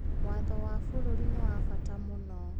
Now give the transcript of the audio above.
Watho wa bũrũri nĩ wa bata mũno.